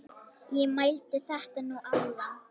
Ég mældi þetta nú áðan.